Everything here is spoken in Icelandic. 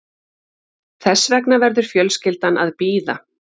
Þess vegna verður fjölskyldan að bíða